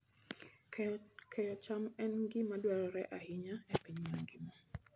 Keyo cham en gima dwarore ahinya e piny mangima.